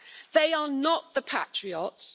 They are not the patriots.